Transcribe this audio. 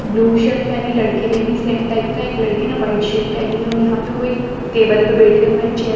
blue shirt पहनी लडकी ने भी सेम टाइप का एक लडके ने वाइट शर्ट पहनी है और यहा पे वो एक टेबल पर बेठे हुए है चेयर --